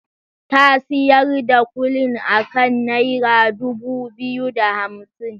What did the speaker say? Ta siyar da kulin akan naira dubu biyu da hamsin.